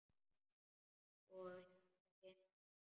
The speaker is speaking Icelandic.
Og hérna gengur hann.